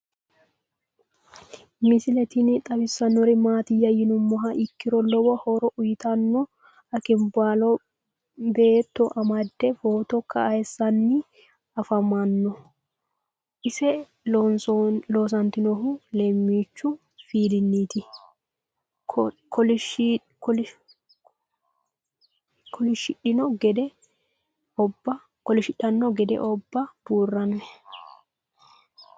Misile tini xawisannori maattiya yinummoha ikkiro lowo horo uyiittanno akinbaallo beetto amadde footto kayiisanni affammanno. ise loosantinohu lemochu fiilinnitti kolishidhanno gede obba buuronni